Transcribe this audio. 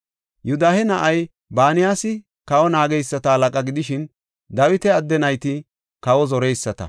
Yoodahe na7ay Banayasi kawa naageysata halaqa gidishin, Dawita adde nayti kawa zoreyisata.